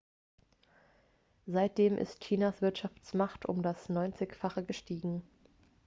seitdem ist chinas wirtschaftskraft um das neunzigfache gestiegen